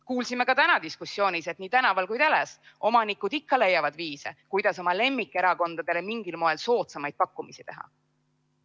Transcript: Kuulsime ka täna diskussioonis, et nii tänaval kui ka teles omanikud ikka leiavad viise, kuidas oma lemmikerakondadele mingil moel soodsamaid pakkumisi teha.